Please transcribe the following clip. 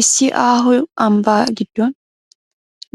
Issi aaho ambbaa giddon